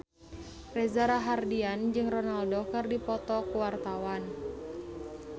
Reza Rahardian jeung Ronaldo keur dipoto ku wartawan